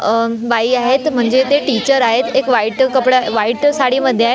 अह बाई आहेत म्हणजे ते टीचर आहेत एक व्हाईट कपड्या व्हाईट साडीमध्ये आहे.